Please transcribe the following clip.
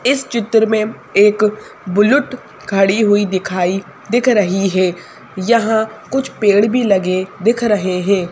इस चित्र में एक बुलुट खड़ी हुई दिखाई दिख रही है यहां कुछ पेड़ भी लगे दिख रहे हैं।